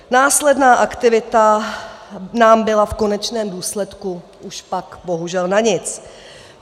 Následná aktivita nám byla v konečném důsledku už pak bohužel na nic.